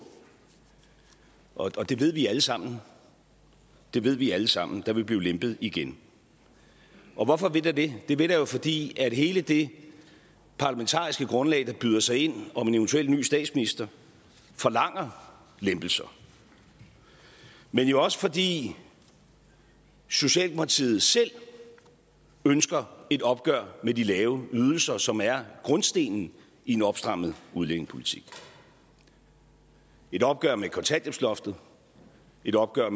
og det ved vi alle sammen det ved vi alle sammen der vil blive lempet igen og hvorfor vil der det det vil der jo fordi hele det parlamentariske grundlag der byder sig ind om en eventuel ny statsminister forlanger lempelser men jo også fordi socialdemokratiet selv ønsker et opgør med de lave ydelser som er grundstenen i en opstrammet udlændingepolitik et opgør med kontanthjælpsloftet et opgør